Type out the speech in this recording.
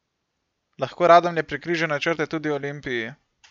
Lahko Radomlje prekrižajo načrte tudi Olimpiji?